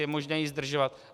Je možné jej zdržovat.